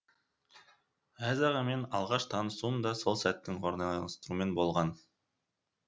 әз ағамен алғаш танысуым да сол сәттің орайластыруымен болған